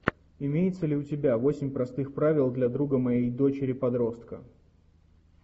имеется ли у тебя восемь простых правил для друга моей дочери подростка